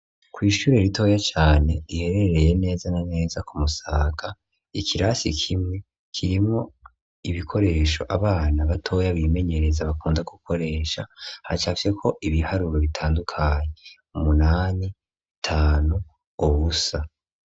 Kw'ishure ritoya cane riherereye neza na neza ku Musaga, ikirasi kimwe kirimwo ibikoresho abana batoya bimenyereza bakunda gukoresha, hacafyeko ibiharuro bitandukanye, umunani, gatanu, ubusa.